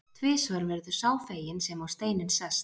Tvisvar verður sá feginn sem á steininn sest.